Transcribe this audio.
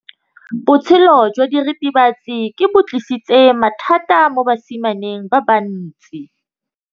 Botshelo jwa diritibatsi ke bo tlisitse mathata mo basimaneng ba bantsi.